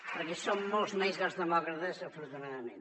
perquè som molts més els demòcrates afortunadament